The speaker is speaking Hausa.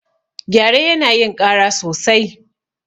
Gyare yana yin ƙara sosai.